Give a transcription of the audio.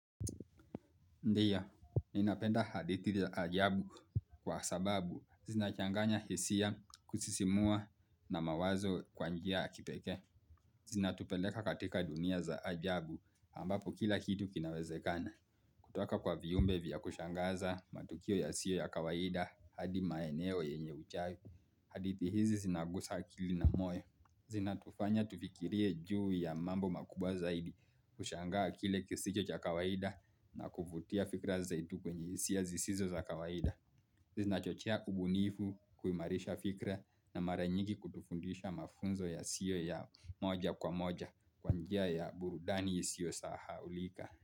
Ndio, ninapenda hadithi za ajabu kwa sababu zinachanganya hisia kusisimua na mawazo kwa njia ya kipekee. Zinatupeleka katika dunia za ajabu ambapo kila kitu kinawezekana. Kutoka kwa viumbe vya kushangaza, matukio yasiyo ya kawaida hadi maeneo yenye uchawi. Hadithi hizi zinagusa akili na moyo. Zinatufanya tufikirie juu ya mambo makubwa zaidi, kushangaa kile kisicho cha kawaida na kuvutia fikra zaidi kwenye hisia zisizo za kawaida Zinachochea ubunifu, kuimarisha fikra na mara nyingi kutufundisha mafunzo yasiyo ya moja kwa moja kwa njia ya burudani isiyo sahaulika.